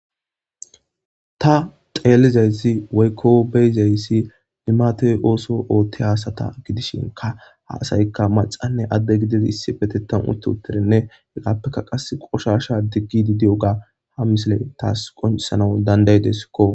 Ta xelizaysi woykon beyizaysi limate otho othiza asata gidishika ha asayka macanne adde gididi issippetetan utti uttidine hesappeka qasi qosha digidi diyoga ha misiley tas qoncisanas danda'idesko